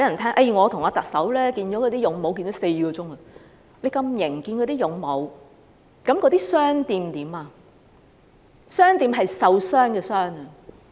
他這麼"有型"，與"勇武"會面，那麼"傷店"怎麼樣？"傷店"是受傷的"傷"。